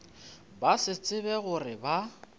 ba se tsebe gore ba